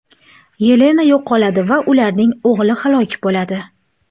Yelena yo‘qoladi va ularning o‘g‘li halok bo‘ladi.